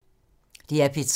DR P3